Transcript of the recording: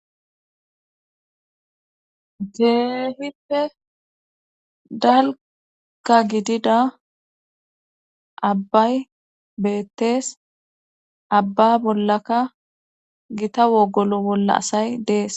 Keehippe dalka gidida abbay beettees abba bollaka gita wogolo bolla asay dees.